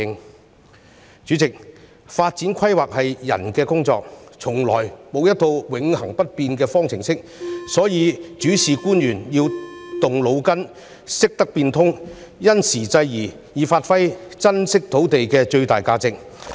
代理主席，發展規劃是人的工作，從來沒有一套永恆不變的方程式，所以主事官員要動腦筋，懂得變通，因時制宜，以發揮珍貴土地的最大價值。